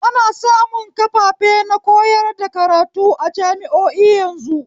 Ana samun kafafe na koyar da karatu a jami'o'i yanzu